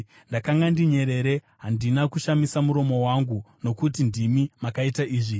Ndakanga ndinyerere; handina kushamisa muromo wangu, nokuti ndimi makaita izvi.